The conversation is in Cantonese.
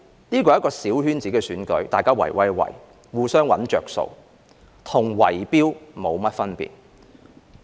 這是一個小圈子選舉，大家"圍威喂"，互相"搵着數"，與"圍標"沒甚麼分別。